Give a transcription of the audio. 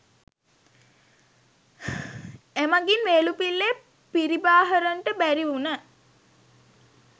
එමඟින් වේලුපිල්ලේ පිරිබාහරන්ට බැරි වුණ